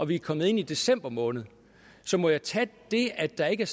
vi er kommet ind i december måned så må jeg tage det at der ikke er